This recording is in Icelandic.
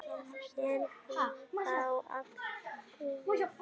Er þá allt búið?